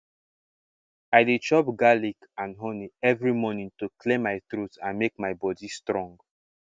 i dey chop garlic and honey every morning to clear my throat and make my body strong